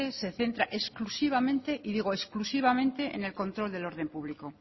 se centra exclusivamente y digo exclusivamente en el control del orden público